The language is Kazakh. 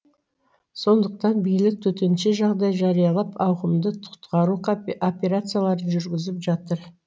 сондықтан билік төтенше жағдай жариялап ауқымды құтқару операцияларын жүргізіп жатыр